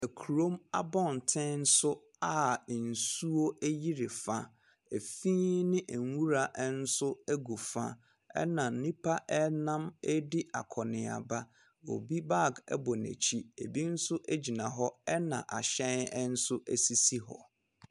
Kurom abɔnten so a nsuo ayiri fa. Fi ne nwura nso gu fa, ɛnna nnipa nam redi akɔnneaba. Obi bag bɔ n'akyi, ebi nso gyina hɔ, ɛnna ahyɛn nso sisi hɔ.